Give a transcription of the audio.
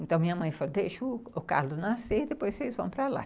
Então, minha mãe falou, deixa o Carlos nascer, depois vocês vão para lá.